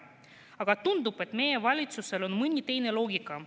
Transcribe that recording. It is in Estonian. Aga tundub, et meie valitsusel on mõni teine loogika.